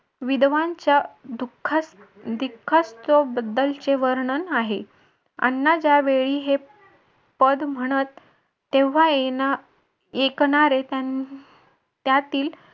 विधवांच्या दुःखास वर्णन आहे अण्णा ज्या वेळी हे पद म्हणत तेव्हा येणार ऐकणारे त्यातील